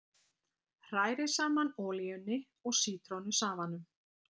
Hrærið saman olíunni og sítrónusafanum.